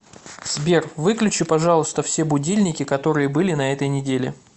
сбер выключи пожалуйста все будильники которые были на этой неделе